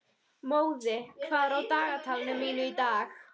Móði, hvað er á dagatalinu mínu í dag?